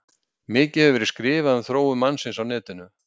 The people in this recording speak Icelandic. Mikið hefur verið skrifað um þróun mannsins á netinu.